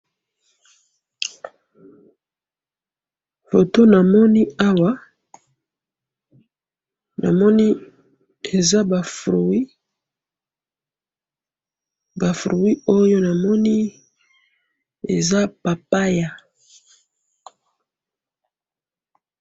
photo namoni awa namoni eza ba fruits ba fruits oyo namoni eza Papaya